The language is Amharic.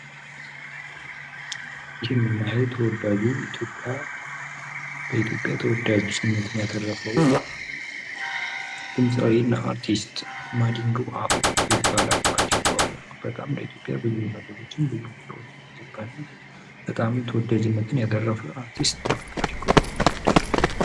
ይህ ምናየው ተወዳጁ በኢትዮጵያ ተወዳጅነትን ያተረፈው ድምጻዊ እና አርቲስት ማዲንጎ አፈወርቅ ይባላል ። ማዲንጎ አፈወርቅ በጣም ለኢትዮጵያ ብዙ ነገሮችን ብዙ ሙዚቃዎችን የዘፈነ በጣም ተወዳጅነትን ያተረፈ አርቲስት ነው ማዲንጎ ።